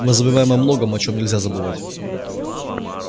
мы забываем о многом о чем нельзя забывать